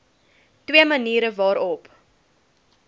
twee maniere waarop